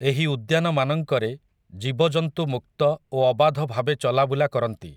ଏହି ଉଦ୍ୟାନମାନଙ୍କରେ, ଜୀବଜନ୍ତୁ ମୁକ୍ତ ଓ ଅବାଧ ଭାବେ ଚଲାବୁଲା କରନ୍ତି ।